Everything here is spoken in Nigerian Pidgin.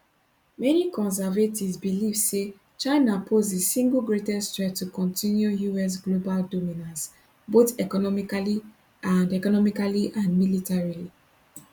many conservatives believe say china pose di single greatest threat to continue us global dominance both economically and economically and militarily